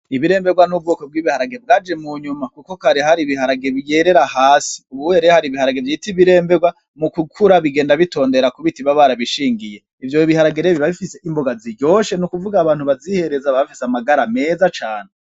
Ibiremberwa n'ubwoko bw'ibiharage bwaje munyuma, kuko kare hari ibiharage vyerera hasi, ubuye rero hari ibiharage vyitwa ibiremberwa, mu gukura bigenda bitondera ku biti baba barabishingiye, ivyo biharage rero biba bifise imboga ziryoshe, nukuvuga abantu bazihereza baba bafise amagara meza cane.